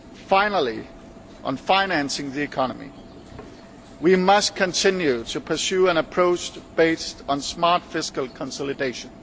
Finally, on financing the economy, we must continue to pursue an approach based on smart fiscal consolidation.